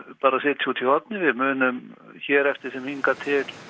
bara sitja úti í horni við munum hér eftir sem hingað til